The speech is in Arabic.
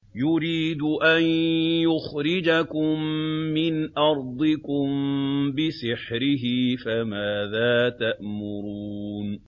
يُرِيدُ أَن يُخْرِجَكُم مِّنْ أَرْضِكُم بِسِحْرِهِ فَمَاذَا تَأْمُرُونَ